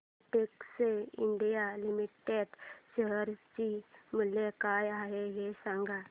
Betex India limited share चे मूल्य काय आहे हे सांगा